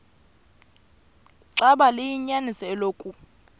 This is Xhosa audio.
xaba liyinyaniso eloku